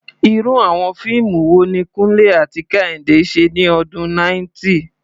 Irú àwọn fíìmù wo ni Kunle àti Kehinde ṣe ní ọdún 90?